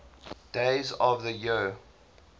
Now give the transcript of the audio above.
days of the year